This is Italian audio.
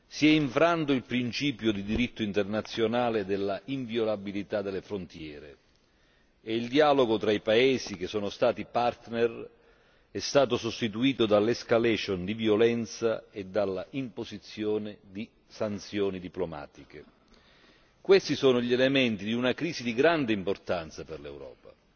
Si è infranto il principio del diritto internazionale dell'inviolabilità delle frontiere e il dialogo tra i paesi che sono stati partner è stato sostituito dall'escalation di violenza e dall'imposizione di sanzioni diplomatiche. Questi sono gli elementi di una crisi di grande importanza per l'Europa.